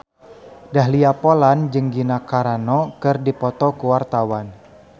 Dahlia Poland jeung Gina Carano keur dipoto ku wartawan